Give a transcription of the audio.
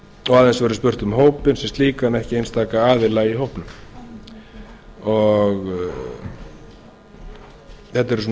og aðeins verður spurt um hópinn sem slíkan en ekki einstaka aðila í hópnum þetta eru